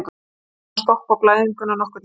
Við náðum að stoppa blæðinguna nokkurnveginn.